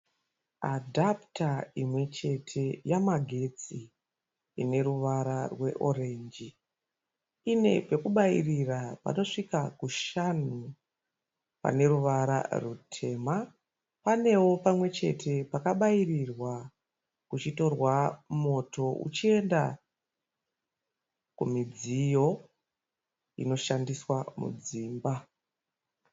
Adhaputa imwechete yamagetsi, ineruvara rweorenji. Ine pekubairira panosvika kushanu paneruvara rwutema. Panewo pamwechete pakabairirwa kuchitorwa moto uchienda kumidziyo inoshandiswa mudzimba.